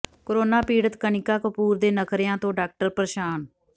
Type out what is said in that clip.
corona ਪੀੜਤ ਕਨਿਕਾ ਕਪੂਰ ਦੇ ਨਖਰਿਆਂ ਤੋਂ ਡਾਕਟਰ ਪ੍ਰੇਸ਼ਾਨ